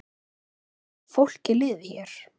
Hvernig fólki liði hér.